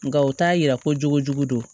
Nka u t'a yira ko jogo jugu don